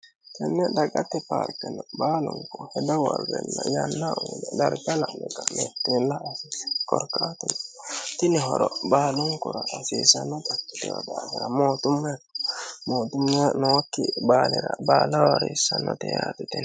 tenni dagatte paarkinni baalunku heda worrenna yanna uyiine darga la'ne kanetini la'a haasiisano korkaatuno tini horo baalunkura hasiisanota ikkitinono daafira mootumme mootumme nookki baalira baala haasiissannote yaate tini